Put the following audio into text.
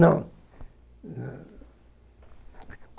Não.